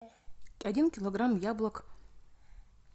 один килограмм яблок